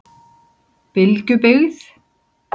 Bylgjubyggð